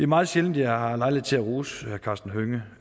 meget sjældent at jeg har lejlighed til at rose herre karsten hønge